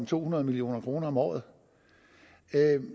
to hundrede million kroner om året